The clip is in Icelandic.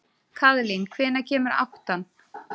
Kaðlín, hvenær kemur áttan?